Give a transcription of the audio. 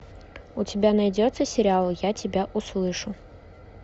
у тебя найдется сериал я тебя услышу